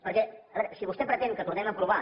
perquè a veure si vostè pretén que tornem a aprovar